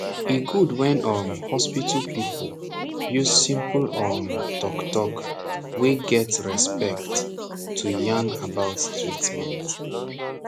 e gud wen um hospital people use simple um talk talk wey get respect to yan about treatment